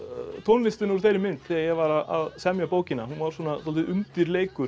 tónlistina úr þeirri mynd þegar ég var að semja bókina hún var dálítill undirleikur